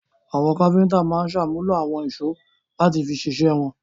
Àwọn kápẹ́ńtà máa ń ṣàmúlò àwọn ìṣó láti fi ṣiṣẹ́ wọn.